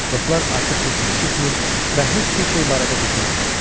Dostlar artıq heç nə eşitmir və heç bir şey barədə düşünmürdülər.